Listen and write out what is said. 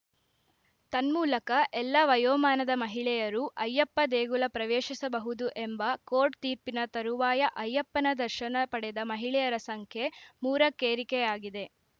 ತನ್ಮೂಲಕ ಎಲ್ಲ ವಯೋಮಾನದ ಮಹಿಳೆಯರೂ ಅಯ್ಯಪ್ಪ ದೇಗುಲ ಪ್ರವೇಶಿಸಬಹುದು ಎಂಬ ಕೋರ್ಟ್‌ ತೀರ್ಪಿನ ತರುವಾಯ ಅಯ್ಯಪ್ಪನ ದರ್ಶನ ಪಡೆದ ಮಹಿಳೆಯರ ಸಂಖ್ಯೆ ಮೂರಕ್ಕೇರಿಕೆಯಾಗಿದೆ